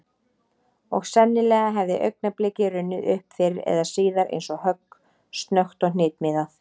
Og sennilega hefði augnablikið runnið upp fyrr eða síðar eins og högg, snöggt og hnitmiðað.